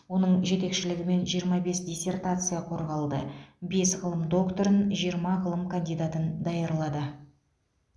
оның жетекшілігімен жиырма бес диссертация қорғалды бес ғылым докторын жиырма ғылым кандидатын даярлады